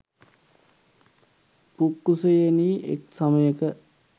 පුක්කුසයෙනි එක් සමයක